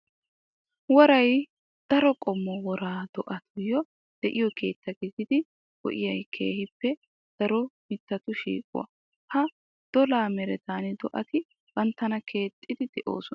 Woray daro qommo wora do'atuyo de'iyo keetta gididi go'iya keehippe daro mitattu shiiquwa. Ha dolla merettan do'atti bantta keexxiddi de'osonna.